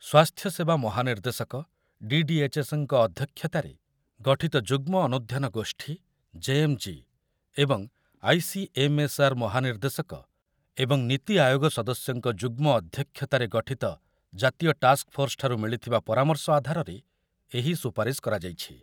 ସ୍ୱାସ୍ଥ୍ୟ ସେବା ମହାନିର୍ଦ୍ଦେଶକ, ଡି ଡି ଏଚ୍ ଏସ୍ ଙ୍କ ଅଧ୍ୟକ୍ଷତାରେ ଗଠିତ ଯୁଗ୍ମ ଅନୁଧ୍ୟାନ ଗୋଷ୍ଠୀ, ଜେ ଏମ୍ ଜି, ଏବଂ I C M S R ମହାନିର୍ଦ୍ଦେଶକ ଏବଂ ନୀତି ଆୟୋଗ ସଦସ୍ୟଙ୍କ ଯୁଗ୍ମ ଅଧ୍ୟକ୍ଷତାରେ ଗଠିତ ଜାତୀୟ ଟାସ୍କଫୋର୍ସ ଠାରୁ ମିଳିଥିବା ପରାମର୍ଶ ଆଧାରରେ ଏହି ସୁପାରିସ କରାଯାଇଛି।